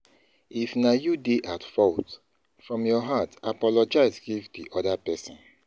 If na you dey at fault, from your heart apologize give di oda person